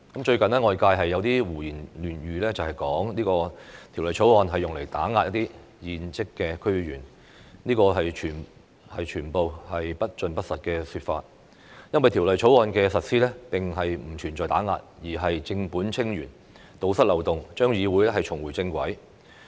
最近，外界有人胡言亂語，指《條例草案》用來打壓現職的區議員，這全是不盡不實的說法，因為《條例草案》的目的並不是打壓，而是正本清源、堵塞漏洞，讓議會重回正軌。